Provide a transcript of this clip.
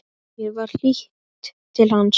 Mér var hlýtt til hans.